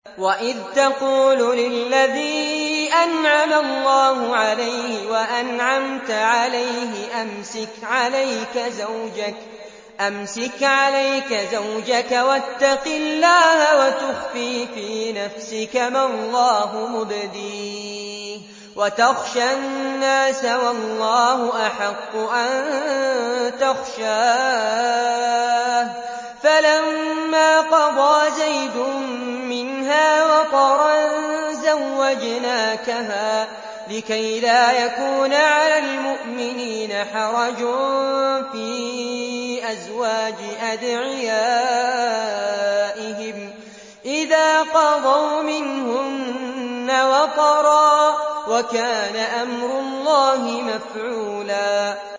وَإِذْ تَقُولُ لِلَّذِي أَنْعَمَ اللَّهُ عَلَيْهِ وَأَنْعَمْتَ عَلَيْهِ أَمْسِكْ عَلَيْكَ زَوْجَكَ وَاتَّقِ اللَّهَ وَتُخْفِي فِي نَفْسِكَ مَا اللَّهُ مُبْدِيهِ وَتَخْشَى النَّاسَ وَاللَّهُ أَحَقُّ أَن تَخْشَاهُ ۖ فَلَمَّا قَضَىٰ زَيْدٌ مِّنْهَا وَطَرًا زَوَّجْنَاكَهَا لِكَيْ لَا يَكُونَ عَلَى الْمُؤْمِنِينَ حَرَجٌ فِي أَزْوَاجِ أَدْعِيَائِهِمْ إِذَا قَضَوْا مِنْهُنَّ وَطَرًا ۚ وَكَانَ أَمْرُ اللَّهِ مَفْعُولًا